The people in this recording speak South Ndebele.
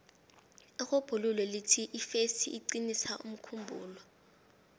irhubhululo lithi ifesi iqinisa umkhumbulo